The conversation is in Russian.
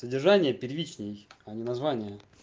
содержание первичный они название